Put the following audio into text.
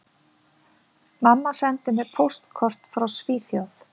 Mamma sendi mér póstkort frá Svíþjóð